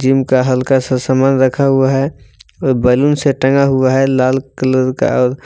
gym का हल्का सा सामान रखा हुआ है और बैलून से टंगा हुआ है लाल कलर का और